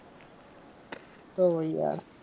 તો પછી યાર